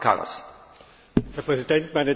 Herr Präsident, meine Damen und Herren!